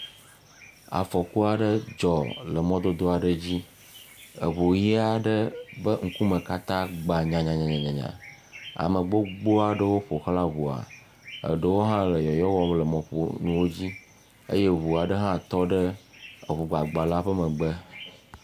Afɔku aɖe dzɔ le mɔdodo aɖe dzi. Eŋu ʋi aɖe be ŋkume katã gba nyanyanyanya ame gbogbo aɖewo ƒoxlã ŋua eɖewo hã le yɔyɔ wɔm le mɔƒonuwo dzi eye ŋu aɖe hã tɔ ɖe eŋugbagba la ƒe megbe.